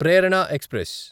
Prerana express